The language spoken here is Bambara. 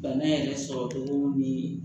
Bana yɛrɛ sɔrɔ cogo ni